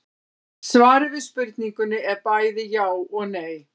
Svarið við spurningunni er bæði já og nei.